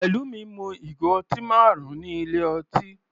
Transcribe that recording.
Pelumi mu ìgò ọtí marun ní ilé ọtí.